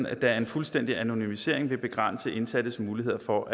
at en fuldstændig anonymisering vil begrænse indsattes muligheder for